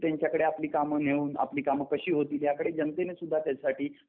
त्यांच्याकडे आपली काम नेऊन आपली कामं कशी होतील ह्याकडे जनतेनं सुद्धा त्याच्यासाठी